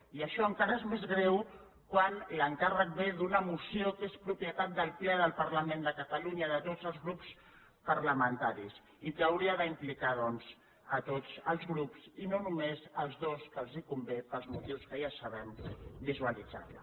i això encara és més greu quan l’encàrrec ve d’una moció que és propietat del ple del parlament de catalunya de tots els grups parlamentaris i que hauria d’implicar doncs a tots els grups i no només als dos que els convé pels motius que ja sabem visualitzar la